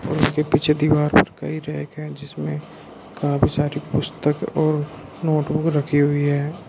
उसके पीछे दीवार पर कई रैक है जिसमे काफी सारी पुस्तक और नोट बुक रखी हुई है।